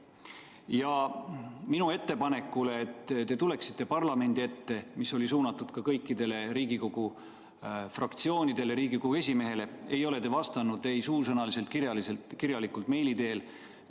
Ja minu ettepanekule, et te tuleksite parlamendi ette – see oli suunatud ka kõikidele Riigikogu fraktsioonidele ja Riigikogu esimehele – ei ole te vastanud ei suusõnaliselt, kirjalikult ega meili teel.